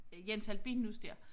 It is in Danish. Jens Albinus dér